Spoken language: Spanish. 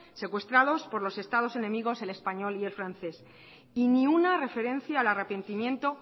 secuestrados por los estados enemigos el español y el francés y ninguna referencia al arrepentimiento